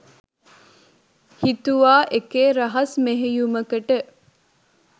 හිතුවා එකේ රහස් මෙහෙයුමකට